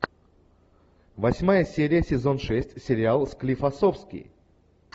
восьмая серия сезон шесть сериал склифосовский